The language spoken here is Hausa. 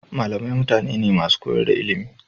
Malamai mutane ne masu koyar da ilimi.